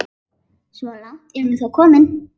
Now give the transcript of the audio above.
Svo langt er hún þó komin.